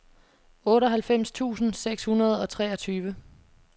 otteoghalvfems tusind seks hundrede og treogtyve